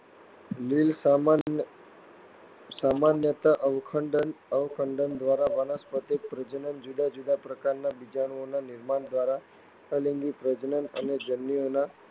લીલ સામાન્યતઃ અવખંડન દ્વારા વનસ્પતિક પ્રજનન, જુદા જુદા પ્રકારનાં બીજાણુઓના નિર્માણ દ્વારા અલિંગી પ્રજનન અને જન્યુઓના